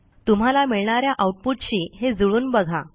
तुम्हाला मिळणा या आऊटपुटशी हे जुळवून बघा